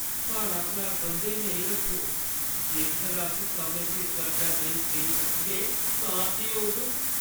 साढ़ा घर बंद्धै नेईं रक्खो। जेकर अस समें सिर कर्जा नेईं देई सकदे तां केह् होग?